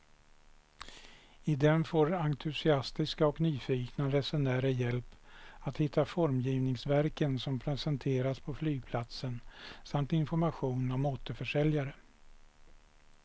I den får entusiastiska och nyfikna resenärer hjälp att hitta formgivningsverken som presenteras på flygplatsen samt information om återförsäljare.